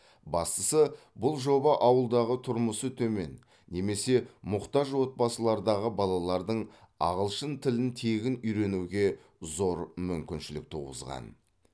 бастысы бұл жоба ауылдағы тұрмысы төмен немесе мұқтаж отбасылардағы балалардың ағылшын тілін тегін үйренуге зор мүмкіншілік туғызған